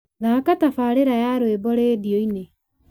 thaaka tabarĩra ya rwĩmbo rĩndiũ-inĩ